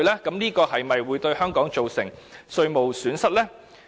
這會否令香港蒙受稅務損失？